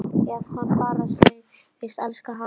Ef hann bara segðist elska hana